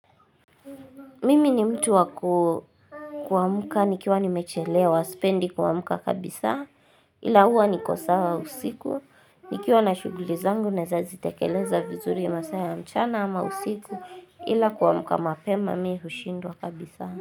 Mimi ni mtu wa kuamka nikiwa nimechelewa sipendi kuamka kabisa ila huwa niko sawa usiku nikiwa na shughuli zangu naeza zitekeleza vizuri masaa ya mchana ama usiku ila kuamka mapema mimi hushindwa kabisa.